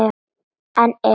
En ef?